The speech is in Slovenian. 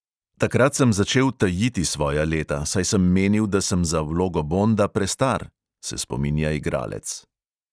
"Takrat sem začel tajiti svoja leta, saj sem menil, da sem za vlogo bonda prestar," se spominja igralec.